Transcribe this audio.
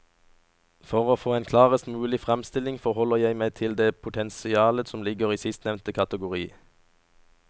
For å få en klarest mulig fremstilling forholder jeg meg til det potensialet som ligger i sistnevnte kategori.